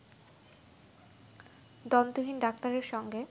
দন্তহীন ডাক্তারের সঙ্গে